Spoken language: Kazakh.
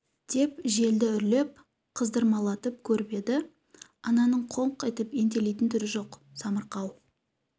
деп желді үрлеп қыздырмалатып көріп еді ананың қолқ етіп ентелейтін түрі жоқ самарқау